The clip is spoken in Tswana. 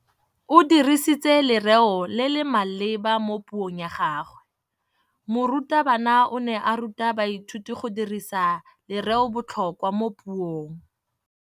O dirisitse lerêo le le maleba mo puông ya gagwe. Morutabana o ne a ruta baithuti go dirisa lêrêôbotlhôkwa mo puong.